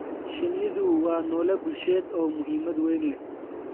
Shinnidu waa noole bulsheed oo muhiimad weyn leh.